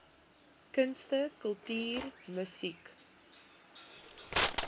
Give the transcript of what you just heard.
kunste kultuur musiek